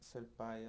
Ser pai